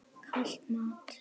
Kalt mat?